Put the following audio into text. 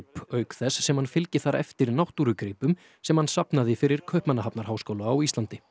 auk þess sem hann fylgi þar eftir náttúrugripum sem hann safnaði fyrir Kaupmannahafnarháskóla á Íslandi